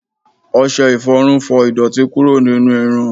ọsẹ iforun fọ idoti kuro ninu irun